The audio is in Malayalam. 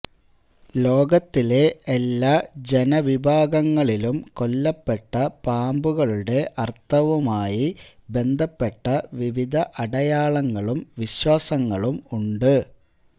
ലോകത്തിലെ എല്ലാ ജനവിഭാഗങ്ങളിലും കൊല്ലപ്പെട്ട പാമ്പുകളുടെ അർഥവുമായി ബന്ധപ്പെട്ട വിവിധ അടയാളങ്ങളും വിശ്വാസങ്ങളും ഉണ്ട്